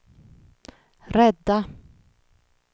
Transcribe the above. rädda